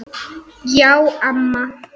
Já, amma.